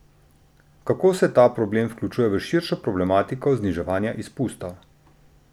Kako se ta problem vključuje v širšo problematiko zniževanja izpustov?